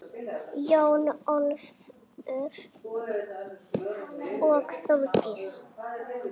Jón Ólafur og Þórdís.